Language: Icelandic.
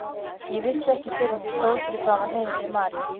Ég vissi ekki fyrr en ég stóð fyrir framan heimili Maríu.